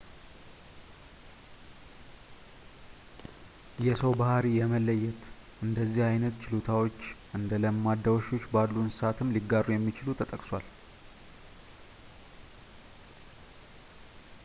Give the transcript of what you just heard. የሰው ባሕሪ የመለየት እንደዚህ ዓይነት ችሎታዎች እንደ ለማዳ ውሾች ባሉ እንሰሳትም ሊጋሩ እንደሚችሉ ጠቅሷል